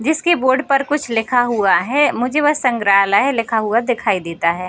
जिसके बोर्ड पर कुच्छ लिखा हुआ है मुझे बस संग्रहालय लिखा हुआ दिखाई देता है।